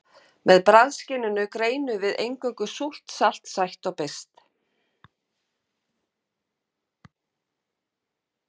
Með bragðskyninu greinum við eingöngu súrt, salt, sætt og beiskt.